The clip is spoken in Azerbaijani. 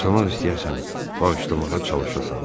Bağışlamaq istəyəsən, bağışlamağa çalışasan.